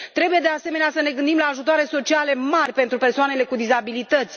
Trebuie, de asemenea, să ne gândim la ajutoare sociale mari pentru persoanele cu dizabilități.